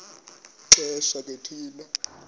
xesha ke thina